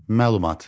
Məlumat.